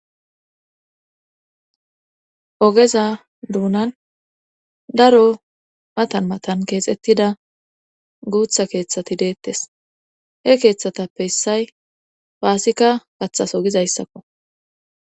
ogeza duunan daro matan matan keexettida guutha keeththati deettes he keeththatappe hissay paasika gaththas ogizayssakko